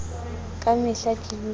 ka mehla ke dula ke